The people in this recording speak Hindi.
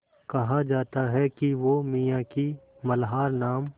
कहा जाता है कि वो मियाँ की मल्हार नाम